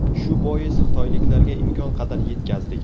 Shu bois, xitoyliklarga imkon qadar yetkazdik.